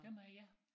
Dem har ja